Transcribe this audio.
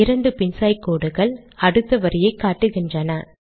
இரண்டு பின்சாய் கோடுகள் அடுத்த வரியை காட்டுகின்றன